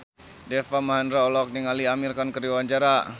Deva Mahendra olohok ningali Amir Khan keur diwawancara